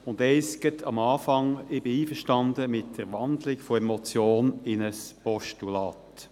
Eines gleich zu Beginn: Ich bin einverstanden mit der Wandlung der Motion in ein Postulat.